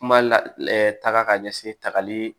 Kuma lataga ka ɲɛsin tagali